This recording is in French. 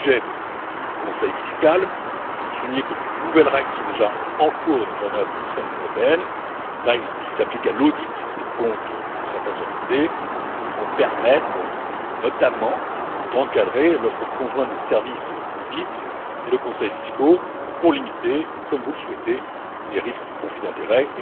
Au sujet du conseil fiscal, je veux souligner que de nouvelles règles, qui sont déjà en cours de mise en œuvre au sein de l'Union européenne et qui s'appliquent à l'audit des comptes de certaines entités, vont permettre notamment d'encadrer l'offre conjointe de services d'audit et de conseils fiscaux pour limiter, comme vous le souhaitez, les risques de conflit d'intérêts.